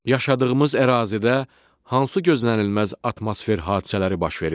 Yaşadığımız ərazidə hansı gözlənilməz atmosfer hadisələri baş verir?